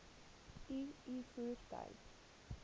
u u voertuig